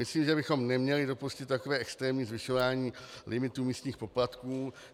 Myslím, že bychom neměli dopustit takové extrémní zvyšování limitů místních poplatků.